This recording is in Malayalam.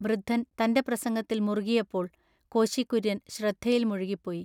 വൃദ്ധൻ തൻ്റെ പ്രസംഗത്തിൽ മുറുകിയപ്പോൾ കോശി കുര്യൻ ശ്രദ്ധയിൽ മുഴുകിപ്പോയി.